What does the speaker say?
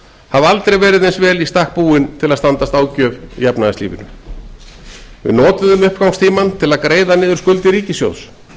hafa aldrei verið eins vel í stakk búin til að standast ágjöf í efnahagslífinu við notuðum uppgangstímann til að greiða niður skuldir ríkissjóðs